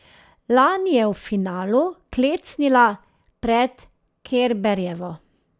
Lani je v finalu klecnila pred Kerberjevo.